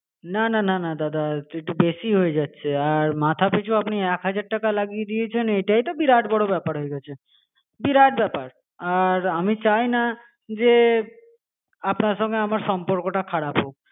না না না না দাদা একটু বেশিই হয়ে যাচ্ছে আর মাথা পিছু আপনি এক হাজার টাকা লাগিয়ে দিয়েছেন. এইটাই তো বিরাট বড়ো ব্যাপার হয়ে গিয়েছে. বিরাট ব্যাপার, আর আমি চাই না যে আপনার সঙ্গে আমার সম্পর্কটা খারাপ হোক